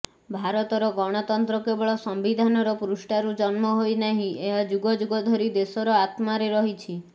ଭାରତର ଗଣତନ୍ତ୍ର କେବଳ ସମ୍ବିଧାନର ପୃଷ୍ଠାରୁ ଜନ୍ମ ହୋଇନାହିଁ ଏହା ଯୁଗ ଯୁଗ ଧରି ଦେଶର ଆତ୍ମାରେ ରହିଛି